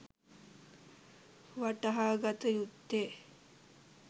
වටහාගත යුත්තේ